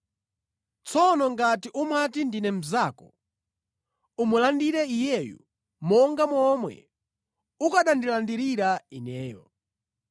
Tsono ngati umati ndine mnzako, umulandire iyeyu monga momwe ukanandilandirira ineyo.